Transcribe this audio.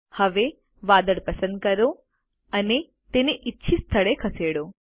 હવે વાદળ પસંદ કરો અને તેને ઇચ્છીત સ્થળે ખસેડો